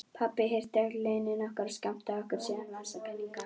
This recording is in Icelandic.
Pabbi hirti öll launin okkar og skammtaði okkur síðan vasapeninga.